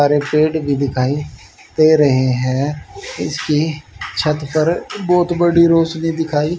और एक पेड़ भी दिखाई दे रहे हैं इसकी छत पर बहोत बढ़ी रोशनी दिखाई--